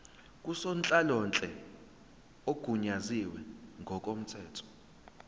ngusonhlalonhle ogunyaziwe ngokomthetho